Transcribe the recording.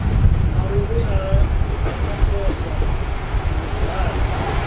maluvhi a ramaphosa na zwihali